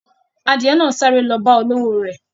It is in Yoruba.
Adiye náà ń sáré lọ bá olówò re.